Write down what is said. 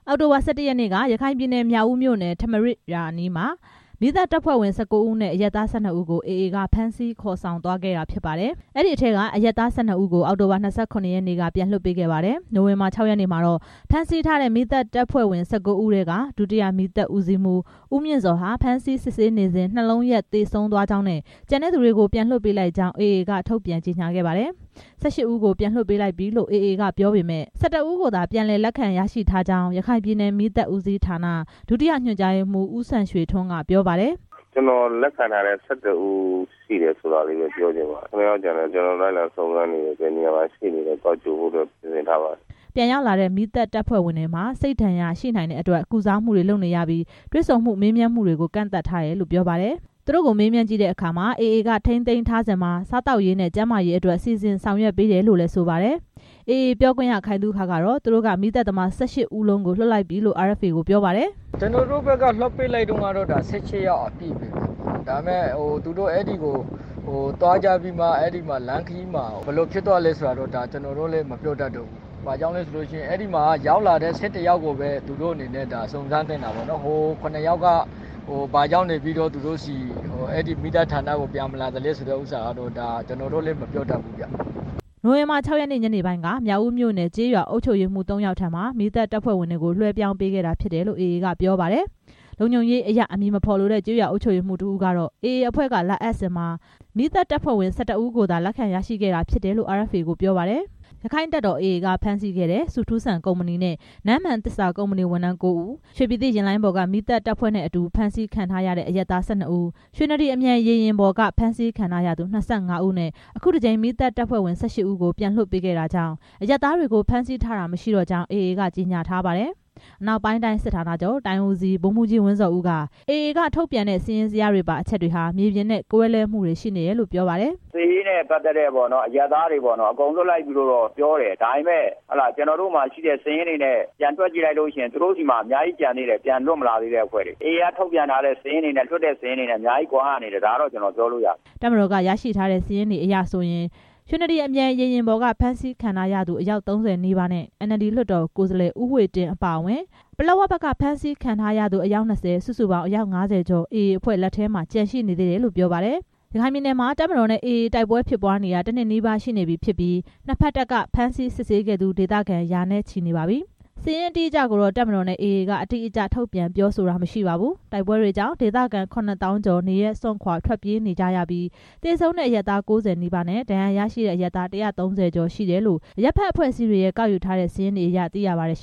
အောက်တိုဘာ ၁၁ ရက်နေ့က ရခိုင်ပြည်နယ် မြောက်ဦးမြို့နယ် ထမရာဇ်ရွာအနီးမှာ မီးသတ်တပ်ဖွဲ့ဝင် ၁၉ ဦးနဲ့ အရပ်သား ၁၂ ဦးကို AA က ဖမ်းဆီးခေါ်ဆောင်သွားခဲ့တာဖြစ်ပါတယ်။ အဲဒီထဲက အရပ်သား ၁၂ ဦးကို အောက်တိုဘာ ၂၇ ရက်နေ့က ပြန်လွှတ်ပေးခဲ့ပါတယ်။ နိုဝင်ဘာ ၆ ရက်နေ့မှာတော့ ဖမ်းဆီးထားတဲ့ မီးသတ်တပ်ဖွဲ့ဝင် ၁၉ ဦးထဲက ဒုတိယ မီးသတ်ဦးစီးမှူး ဦးမြင့်ဇော်ဟာ ဖမ်းဆီးစစ်ဆေးနေစဉ် နှလုံးရပ်သေဆုံးသွားကြောင်း၊ ကျန်တဲ့သူတွေကို ပြန်လွှတ်ပေးလိုက်ကြောင်း AA က ထုတ်ပြန်ကြေညာခဲ့ပါတယ်။ ၁၈ ဦးကို ပြန်လွှတ်ပေးလိုက်ပြီလို့ AA က ပြောပေမယ့် ၁၁ ဦးကိုသာ ပြန်လည် လက်ခံရရှိထားကြောင်း ရခိုင်ပြည်နယ် မီးသတ်ဦးစီးဌာနက ဒုတိယညွှန်ကြားရေးမှူး ဦးစံရွှေထွန်းက ပြောပါတယ်။ “ကျွန်တော်လက်ခံထားတဲ့ ၁၁ ဦးရှိတယ်ဆိုတာပဲ ပြောချင်ပါတယ်။ ခုနှစ်ယောက်ကျန်တယ် ကျွန်တော်တို့ လိုက်လံစုံစမ်းပြီး ဘယ်နေရာမှာရှိနေလဲ သွားကြိုဖို့ စီစဉ်ထားပါတယ်” ပြန်ရောက်လာတဲ့ မီးသတ်တပ်ဖွဲ့ဝင်တွေမှာ စိတ်ဒဏ်ရာရှိနိုင်တဲ့အတွက် ကုစားမှုတွေ လုပ်နေရပြီး တွေ့ဆုံမှုတွေ၊ မေးမြန်းမှုတွေကို ကန့်သတ်ထားတယ်လို့ ပြောပါတယ်။ သူတို့ကိုမေးမြန်းကြည့်တဲ့အခါမှာ AA က ထိန်းသိမ်းထားချိန်မှာ စားသောက်ရေးနဲ့ ကျန်းမာရေးအတွက် စီစဉ်ဆောင်ရွက်ပေးတယ်လို့လည်း ဆိုပါတယ်။ AA ပြောခွင့်ရ ခိုင်သုခကတော့ သူတို့က မီးသတ်သမား ၁၈ ဦးလုံးကို လွှတ်ပြီးပြီလို့ RFA ကို ပြောပါတယ်။ “ကျွန်တော်တို့ဘက်က လွှတ်ပေးလိုက်တုန်းက ၁၈ ယောက်အပြည့်ပဲဗျ။ သူတို့သွားကြပြီး လမ်းခရီးမှာ ဘယ်လိုဖြစ်သွားလဲဆိုတာတော့ မပြောတတ်ဘူး။ ရောက်လာတဲ့ ၁၁ ယောက်ကိုပဲ သူတို့အနေနဲ့ စုံစမ်းသင့်တာပေါ့ ဟို ခုနှစ်ယောက် ဘာကြောင့် မီးသတ်ဌာနကို ပြန်မလာတာလဲဆိုတာ ကျွန်တော်တို့လည်း မပြောတတ်ဘူး” နိုဝင်ဘာ ၆ ရက်နေ့ ညနေပိုင်းက မြောက်ဦးမြို့နယ် ကျေးရွာ အုပ်ချုပ်ရေးမှူး သုံးယောက်ထံမှာ မီးသတ် တပ်ဖွဲ့ဝင်တွေကို လွှဲပြောင်းပေးခဲ့တာဖြစ်တယ်လို့ AA က ပြောပါတယ်။ လုံခြုံရေးအရ အမည်မဖော်လိုတဲ့ ကျေးရွာအုပ်ချုပ်ရေးမှူးတစ်ဦးကတော့ AA အဖွဲ့က လာအပ်စဉ်မှာ မီးသတ်တပ်ဖွဲ့ဝင် ၁၁ ဦးကိုသာ လက်ခံရရှိခဲ့တာ ဖြစ်တယ်လို့ RFA ကိုပြောပါတယ်။ ရက္ခိုင့်တပ်တော် AA က ဖမ်းဆီးခဲ့တဲ့ ဆုထူးစံ ကုမ္ပဏီနဲ့ နန်းမှန်သစ္စာ ကုမ္ပဏီ ဝန်ထမ်း ကိုးဦး၊ ရွှေပြည်သစ် ယာဉ်လိုင်းပေါ်က မီးသတ်တပ်ဖွဲ့အတူ ဖမ်းဆီးခံထားရတဲ့ အရပ်သား ၁၂ ဦး၊ ရွှေနဒီရေယာဉ်ပေါ်က ဖမ်းဆီးခံရသူ ၂၅ ဦးနဲ့ အခုတစ်ကြိမ် မီးသတ်တပ်ဖွဲ့ဝင် ၁၈ ဦးကို ပြန်လွှတ်ပေးခဲ့တာကြောင့် အရပ်သားတွေကို ဖမ်းဆီးထားတာမရှိတော့ကြောင်း AA က ကြေညာထားပါတယ်။ အနောက်ပိုင်းတိုင်းစစ်ဌာနချုပ် တိုင်းဦးစီး ဗိုလ်မှူးကြီး ဝင်းဇော်ဦးက AA ကထုတ်ပြန်တဲ့ စာရင်းဇယားပါ အချက်တွေဟာ မြေပြင်အခြေအနေနဲ့ ကွဲလွဲမှုတွေရှိနေတယ်လို့ ပြောပါတယ်။ “စစ်ရေးနဲ့ မပတ်သက်တဲ့ အရပ်သားတွေ အကုန်လွှတ်လိုက်ပြီလို့တော့ ပြောတယ်။ ဒါပေမဲ့ ကျွန်တော်တို့ဆီက ရရှိတဲ့ စာရင်းနဲ့တွက်ကြည့်ရင် သူတို့ဆီမှာ အများကြီးကျန်သေးတယ်။ ပြန်လွှတ်မလာသေးတဲ့ အဖွဲ့တွေ AA ကထုတ်ပြန်တဲ့စာရင်းတွေနဲ့ ပြန်လွှတ်တဲ့စာရင်းတွေက အများကြီးကွာဟမှု ရှိတယ်။ ဒါကတော့ ကျွန်တော် ပြောလို့ရတယ်” တပ်မတော်က ရရှိထားတဲ့စာရင်းတွေအရဆိုရင် ရွှေနဒီအမြန်ရေယာဉ်ပေါ်က ဖမ်းဆီးခံထားရသူ အယောက် ၃၀ နီးပါးနဲ့ NLD လွှတ်တော်ကိုယ်စားလှယ် ဦးဝှေ့တင်း အပါအဝင် ပလက်ဝဘက်က ဖမ်းဆီးထားတဲ့သူ အယောက် ၂၀ စုစုပေါင်း အယောက် ၅၀ ကျော် AA အဖွဲ့လက်ထဲမှာ ကျန်ရှိနေသေးတယ်လို့ ပြောပါတယ်။ ရခိုင်ပြည်နယ်မှာ တပ်မတော်နဲ့ AA တို့ တိုက်ပွဲတွေဖြစ်ပွားနေတာ တစ်နှစ်နီးပါး ရှိနေပြီဖြစ်ပြီး နှစ်ဘက်တပ်က ဖမ်းဆီးစစ်ဆေးခဲ့သူ ဒေသခံတွေ ရာနဲ့ချီ ရှိနေပါတယ်။ စာရင်းအတိအကျကိုတော့ တပ်မတော်နဲ့ AA က အတိအကျ ထုတ်ပြန်ပြောဆိုတာ မရှိပါဘူး။ တိုက်ပွဲကြောင့် ဒေသခံ ခုနှစ်သောင်းကျော် နေရပ်စွန့်ခွာ ထွက်ပြေးနေရပြီး သေဆုံးတဲ့အရပ်သား ၉၀ နီးပါးနဲ့ ဒဏ်ရာရရှိတဲ့အရပ်သား ၁၃၀ ကျော်ရှိတယ်လို့ အရပ်ဖက်အဖွဲ့အစည်းတွေက ကောက်ယူထားတဲ့ စာရင်းတွေအရ သိရပါတယ်။